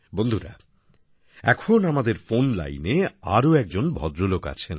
বন্ধুরা এখন আমাদের ফোন লাইনে আরও একজন ভদ্রলোক আছেন